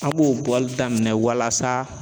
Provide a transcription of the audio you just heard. A b'o bɔli daminɛ walasa.